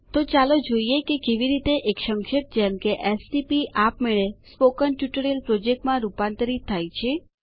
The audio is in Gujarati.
તો ચાલો જોઈએ કે કેવી રીતે એક સંક્ષેપ જેમ કે એસટીપી આપમેળે સ્પોકન ટ્યુટોરિયલ પ્રોજેક્ટ માં રૂપાંતરિત થાય છે